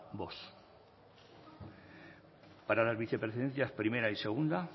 vox para las vicepresidencias primera y segunda